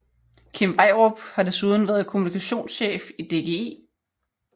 Kim Vejrup har desuden været kommunikationschef i DGI